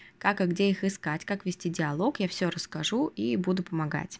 как и где их искать как вести диалог я все расскажу и буду помогать